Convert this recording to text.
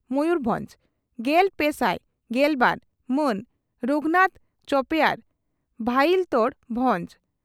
ᱢᱚᱭᱩᱨᱵᱷᱚᱸᱡᱽ ᱾ᱜᱮᱞᱯᱮᱥᱟᱭ ᱜᱮᱞᱵᱟᱨ ᱢᱟᱱ ᱨᱚᱜᱷᱱᱟᱛᱷ ᱪᱚᱯᱮᱭᱟᱨ ᱵᱷᱟᱞᱤᱭᱛᱚᱲᱚ ᱵᱷᱚᱸᱡᱽ